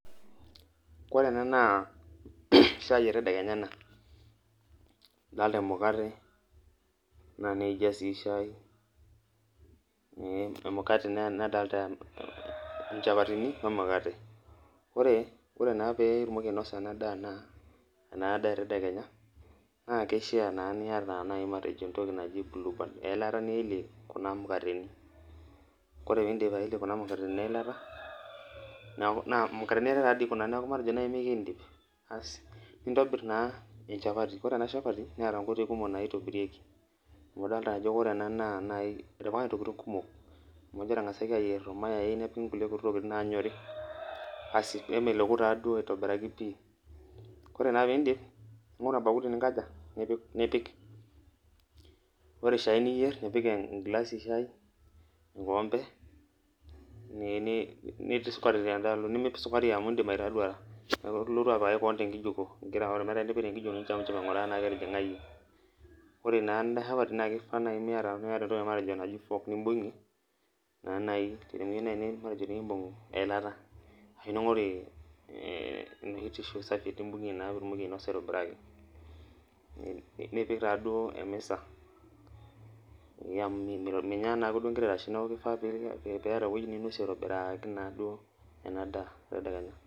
ore ena naa shai etedekenya ena adoolta emukate ,naa niidia sii shai, naa dolta inchapatini wemukate, naa kishaa niyata buluband ore pee iidip eyelie eelata nintobirtaa echapati naakeeta naa intokitin kumok naaitobirieki naa doolta kulie tokitin naanyori nipik pooki nemoku naa aitoki pii, ore shai niyier nipik enkoompe ashu enkilasi, nilotu apikaki koon sukari ning'oru entoki nibung'ie enaa enkiti fork ashu tiishu nibung'ie.